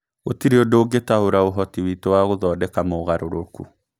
Gũtirĩ ũndũ ũngĩtaũra ũhoti witũ wa gũthondeka mogarũrũku.